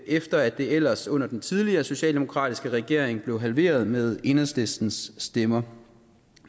efter at det ellers under den tidligere socialdemokratiske regering blev halveret med enhedslistens stemmer